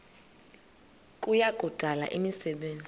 kuya kudala imisebenzi